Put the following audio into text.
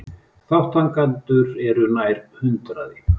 Þátttakendur eru nær hundraði